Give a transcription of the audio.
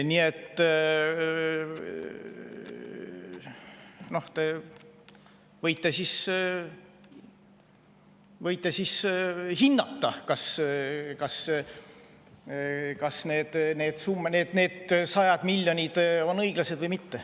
Nii et te võite hinnata, kas need sajad miljonid on õiglased või mitte.